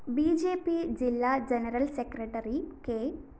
B J P ജില്ലാ general secretary K